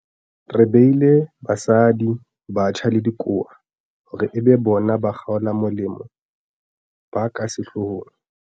Re beile basadi, batjha le dikowa hore e be bona bakgolamolemo ba ka sehlohong.